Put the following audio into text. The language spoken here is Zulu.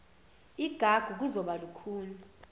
igagu kuzokuba lukhuni